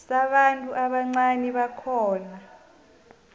sabantu ubuncani bakhona